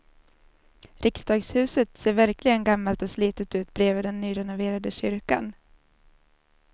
Riksdagshuset ser verkligen gammalt och slitet ut bredvid den nyrenoverade kyrkan.